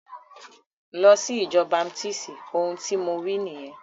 Lọ sí ìjọ baptisti! Ohun tí mo wí nìyẹn.